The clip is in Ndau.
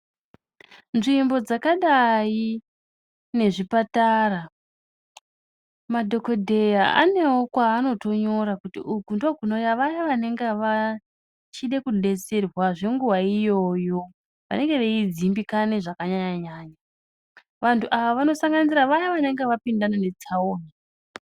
Nzvimbo dzakadai nezvipatara madhokodheya anewo kwavanotora kuti uku ndokunouya vaya vanenge vachide kudetserwa zvenguwa iyoyo vanenge veidzimbikana zvakanyanya nyanya vantu ava vanosanganisira vaya vanenge vapindana ne tsaona .